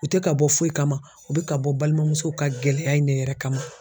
U tɛ ka bɔ foyi kama u bɛ ka bɔ balimamusow ka gɛlɛya in ne yɛrɛ kama.